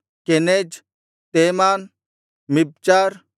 Kenaz ತೇಮಾನ್ ಮಿಬ್ಚಾರ್